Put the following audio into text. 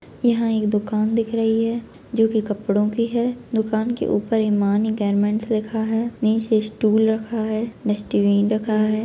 यहाँ एक दुकान दिखा रही है जो की कपड़ों की है दुकान के ऊपर हिमानी गारमेंट लिखा है नीचे स्टूल रखा है डस्टबिन रखा है।